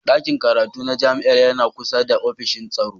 Ɗakin karatu na jami'ar yana kusa da ofishin tsaro.